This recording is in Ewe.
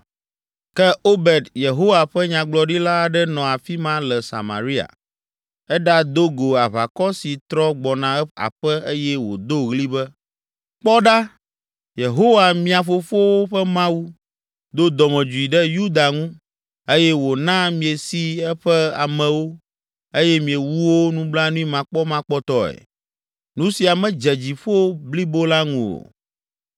Ke Obed, Yehowa ƒe nyagblɔɖila aɖe nɔ afi ma le Samaria. Èɖado go aʋakɔ si trɔ gbɔna aƒe eye wòdo ɣli be, “Kpɔ ɖa! Yehowa, mia fofowo ƒe Mawu, do dɔmedzoe ɖe Yuda ŋu eye wòna miesi eƒe amewo eye miewu wo nublanuimakpɔmakpɔtɔe. Nu sia medze dziƒo blibo la ŋu o.